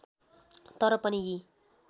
तर पनि यी